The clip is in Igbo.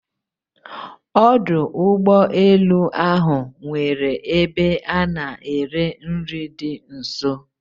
Ọdụ ụgbọ elu ahụ nwere ebe a na-ere nri dị nso